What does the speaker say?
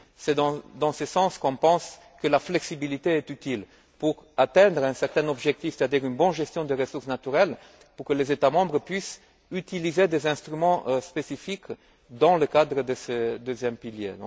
C'est dans ce sens qu'on pense que la flexibilité est utile pour atteindre un certain objectif, c'est à dire une bonne gestion des ressources naturelles, pour que les États membres puissent utiliser des instruments spécifiques dans le cadre de ce deuxième pilier.